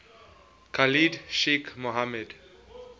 khalid sheikh mohammed